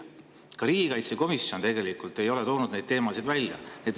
Ka riigikaitsekomisjon ei ole neid teemasid välja toonud.